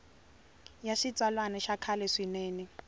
ya xitsalwana ya kahle swinene